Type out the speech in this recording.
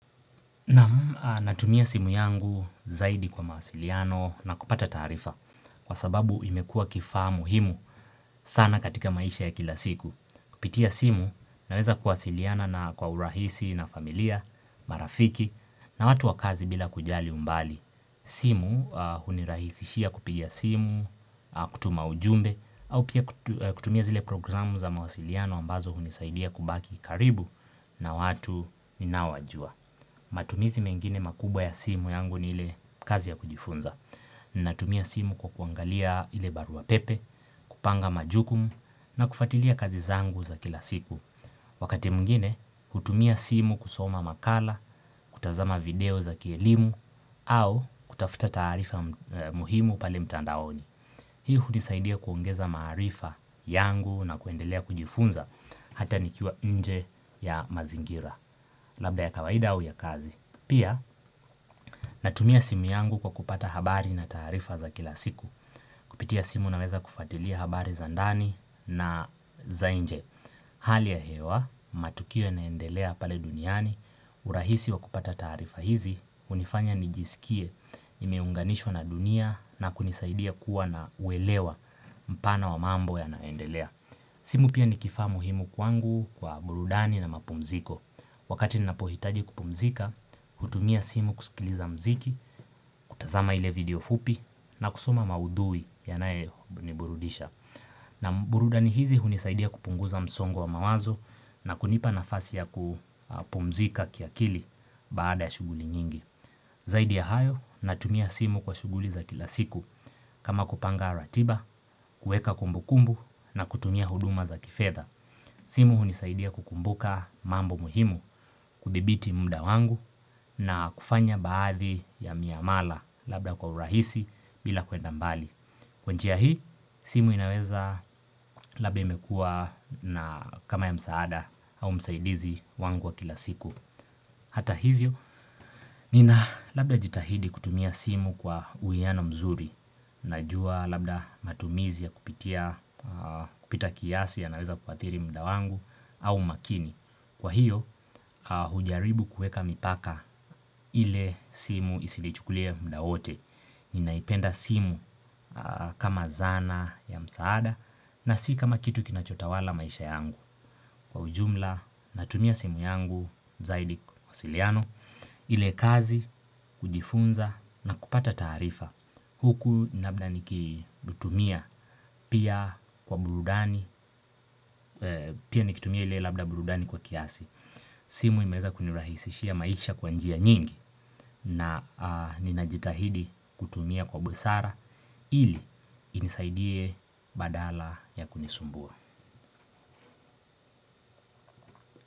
Naam natumia simu yangu zaidi kwa mawasiliano na kupata taarifa kwa sababu imekua kifaa muhimu sana katika maisha ya kila siku. Kupitia simu naweza kuwasiliana na kwa urahisi na familia, marafiki na watu wa kazi bila kujali umbali. Simu hunirahisishia kupigia simu, kutuma ujumbe au pia kutumia zile programu za mawasiliano ambazo hunisaidia kubaki karibu na watu ninaowajua. Na wajua, matumizi mengine makubwa ya simu yangu ni ile kazi ya kujifunza. Natumia simu kwa kuangalia ile barua pepe, kupanga majukumu, na kufatilia kazi zangu za kila siku. Wakati mwingine, hutumia simu kusoma makala, kutazama video za kielimu, au kutafuta taarifa muhimu pale mtandaoni. Hii hunisaidia kuongeza maarifa yangu na kuendelea kujifunza hata nikiwa nje ya mazingira. Labda ya kawaida au ya kazi. Pia, natumia simu yangu kwa kupata habari na taarifa za kila siku. Kupitia simu naweza kufatilia habari za ndani na za inje. Hali ya hewa, matukio yanaendelea pale duniani, urahisi wa kupata taarifa hizi, hunifanya nijisikie, nimeunganishwa na dunia na kunisaidia kuwa na uelewa mpana wa mambo yanaendelea. Simu pia ni kifaa muhimu kwangu kwa burudani na mapumziko. Wakati ninapohitaji kupumzika, hutumia simu kusikiliza mziki, kutazama ile video fupi, na kusoma maudhui yanaye ni burudisha. Na burudani hizi hunisaidia kupunguza msongo wa mawazo na kunipa nafasi ya kupumzika kiakili baada ya shuguli nyingi. Zaidi ya hayo natumia simu kwa shuguli za kila siku kama kupanga ratiba, kueka kumbukumbu na kutumia huduma za kifedha simu hunisaidia kukumbuka mambo muhimu kuthibiti muda wangu na kufanya baadhi ya miamala labda kwa urahisi bila kwenda mbali Kwa njia hii simu inaweza labda imekua na kama ya msaada au msaidizi wangu wa kila siku Hata hivyo, nina labda jitahidi kutumia simu kwa uiano mzuri, najua labda matumizi ya kupita kiasi yanaweza kuathiri muda wangu au makini. Kwa hiyo, hujaribu kueka mipaka ile simu isilichukulie muda wote. Ninaipenda simu kama zana ya msaada na si kama kitu kinachotawala maisha yangu. Kwa ujumla natumia simu yangu zaidi kwa mawasiliano ile kazi kujifunza na kupata taarifa huku labda nikitumia pia kwa burudani pia nikitumia ile labda burudani kwa kiasi simu imeweza kunirahisishia maisha kwa njia nyingi na ninajikahidi kutumia kwa busara ili inisaidie badala ya kunisumbua.